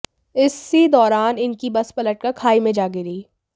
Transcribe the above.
इसी दौरान इनकी बस पलटकर खाई में जा गिरी